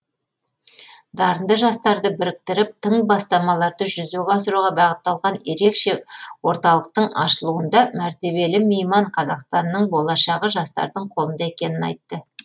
дарынды жастарды біріктіріп тың бастамаларды жүзеге асыруға бағытталған ерекше орталықтың ашылуында мәртебелі мейман қазақстанның болашағы жастардың қолында екенін айтты